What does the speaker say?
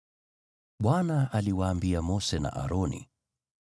Bwana aliwaambia Mose na Aroni: